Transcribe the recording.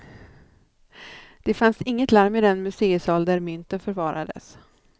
Det fanns inget larm i den museisal där mynten förvarades.